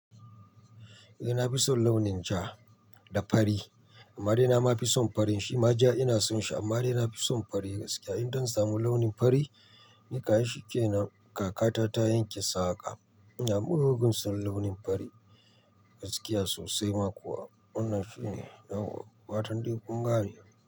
Eh, na fi son launin ja da fari. Amma dai na ma fi son farin shi ma ja ina son shi amma dai na fi son fari gaskiya. In zan samu launin fari, ni kam ai shi kenan. Kakata ta yanke saƙa, ina mugun son launin fari gaskiya sosai ma kuwa. Wannan shine yawwa. Fatan dai kun gane?